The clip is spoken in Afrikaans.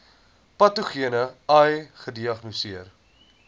patogene ai gediagnoseer